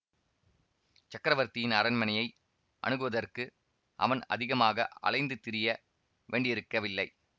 சக்கரவர்த்தியின் அரண்மனையை அணுகுவதற்கு அவன் அதிகமாக அலைந்து திரிய வேண்டியிருக்கவில்லை